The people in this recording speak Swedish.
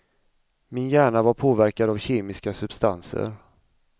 Min hjärna var påverkad av kemiska substanser.